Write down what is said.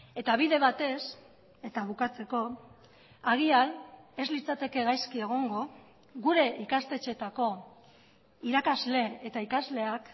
eta bide batez eta bukatzeko agian ez litzateke gaizki egongo gure ikastetxeetako irakasle eta ikasleak